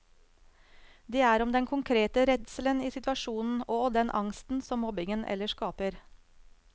Det er om den konkrete redselen i situasjonen og den angsten som mobbingen ellers skaper.